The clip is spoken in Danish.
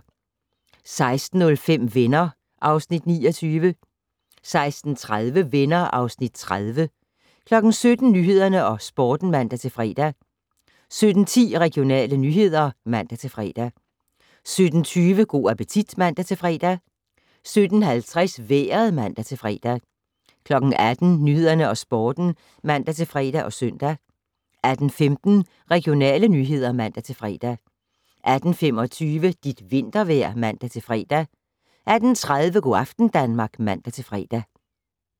16:05: Venner (Afs. 29) 16:30: Venner (Afs. 30) 17:00: Nyhederne og Sporten (man-fre) 17:10: Regionale nyheder (man-fre) 17:20: Go' appetit (man-fre) 17:50: Vejret (man-fre) 18:00: Nyhederne og Sporten (man-fre og søn) 18:15: Regionale nyheder (man-fre) 18:25: Dit vintervejr (man-fre) 18:30: Go' aften Danmark (man-fre)